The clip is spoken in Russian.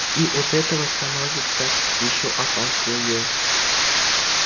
и от этого становится ещё опаснее